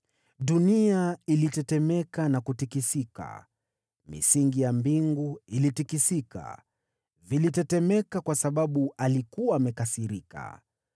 “Dunia ilitetemeka na kutikisika, misingi ya mbingu ikatikisika, vilitetemeka kwa sababu alikuwa amekasirika.